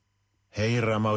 heyra má